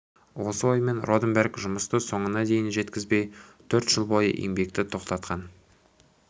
осы оймен роденберг жұмысты соңына дейін жеткізбей төрт жыл бойғы еңбекті тоқтатқан